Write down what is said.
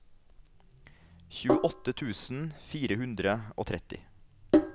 tjueåtte tusen fire hundre og tretti